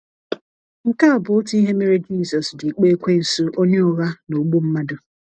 Nke a bụ otu ihe mere Jisọs ji kpọọ ekwensụ onye ụgha na ogbu mmadụ.